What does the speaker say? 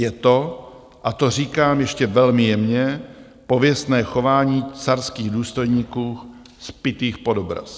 Je to, a to říkám ještě velmi jemně, pověstné chování carských důstojníků zpitých pod obraz.